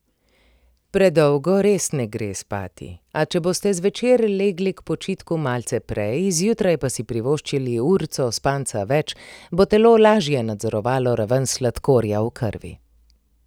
Predolgo res ne gre spati, a če boste zvečer legli k počitku malce prej, zjutraj pa si privoščili urico spanca več, bo telo lažje nadzorovalo raven sladkorja v krvi.